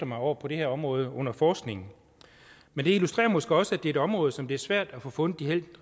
mig over på det her område under forskning men det illustrerer måske også at det er et område som det er svært at få fundet de helt